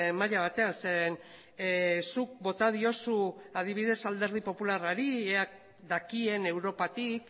maila batean zeren zuk bota diozu adibidez alderdi popularrari ea dakien europatik